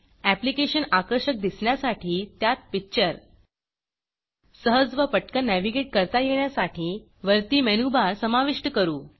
application आकर्षक दिसण्यासाठी त्यात पिक्चर सहज व पटकन नेव्हीगेट करता येण्यासाठी वरती मेनूबार समाविष्ट करू